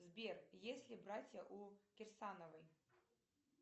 сбер есть ли братья у кирсановой